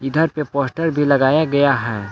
Poster भी लगाया गया है।